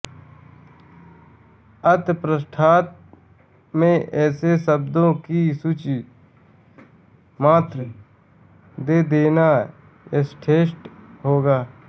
अत पृष्ठांत में ऐसे शब्दों की सूची मात्र दे देना यथेष्ट होगा